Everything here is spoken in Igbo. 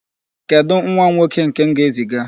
Kedụ nwa m nwoke nke m ga-eziga?